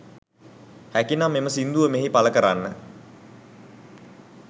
හැකිනම් එම සිංදුව මෙහි පල කරන්න